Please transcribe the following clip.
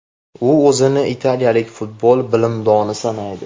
U o‘zini italiyalik futbol bilimdoni sanaydi.